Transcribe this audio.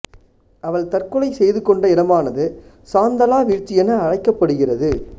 அவள் தற்கொலை செய்து கொண்ட இடமானது சாந்தலா வீழ்ச்சி என அழைக்கப்படுகிறது